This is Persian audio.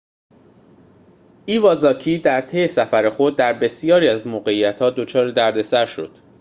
ایوازاکی در طی سفر خود در بسیاری از موقعیت‌ها دچار دردسر شد